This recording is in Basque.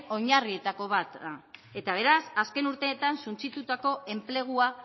oinarrietako bat da eta beraz azken urteetan suntsitutako enplegua